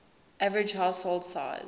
average household size